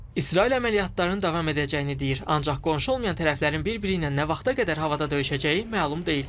İsrail əməliyyatların davam edəcəyini deyir, ancaq qonşu olmayan tərəflərin bir-biri ilə nə vaxta qədər havada döyüşəcəyi məlum deyil.